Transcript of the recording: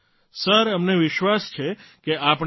અમને વિશ્વાસ છે કે આપણે જીતીશું